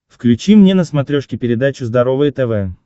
включи мне на смотрешке передачу здоровое тв